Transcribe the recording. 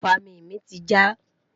ifami mí ti ja